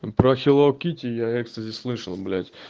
про хеллоу китти я экстази слышал блять